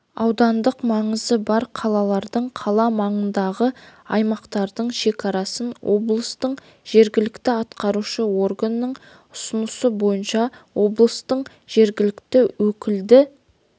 аудандық маңызы бар қалалардың қала маңындағы аймақтарының шекарасын облыстың жергілікті атқарушы органының ұсынысы бойынша облыстың жергілікті өкілді